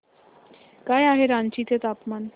काय आहे रांची चे तापमान